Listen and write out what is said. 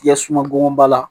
Yɛ sungonba la